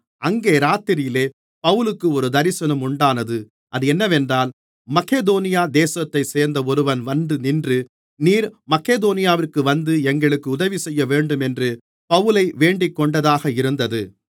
அங்கே இராத்திரியிலே பவுலுக்கு ஒரு தரிசனம் உண்டானது அது என்னவென்றால் மக்கெதோனியா தேசத்தைச் சேர்ந்த ஒருவன் வந்துநின்று நீர் மக்கெதோனியாவிற்கு வந்து எங்களுக்கு உதவிசெய்யவேண்டும் என்று பவுலை வேண்டிக்கொண்டதாக இருந்தது